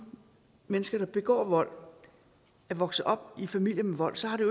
mennesker der begår vold er vokset op i familier med vold så har det